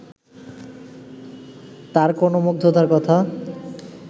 তাঁর কোনো মুগ্ধতার কথা